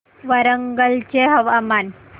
वरंगल चे हवामान